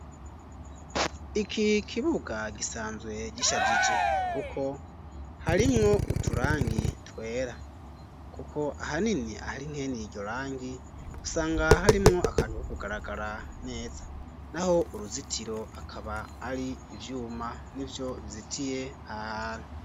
Iki kibuga gisanzwe gishajije kuko harimwo uturangi twera kuko ahanini ahari mweni iryo rangi usanga harimwo akantu ko kugaragara neza naho uruzitiro akaba ari ivyuma nivyo bizitiye ahantu